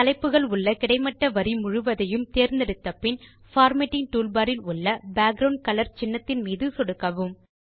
தலைப்புகள் உள்ள கிடைமட்ட வரி முழுவதையும் தேர்ந்தெடுத்தபின் பார்மேட்டிங் டூல்பார் இல் உள்ள பேக்கிரவுண்ட் கலர் சின்னம் மீது சொடுக்கவும்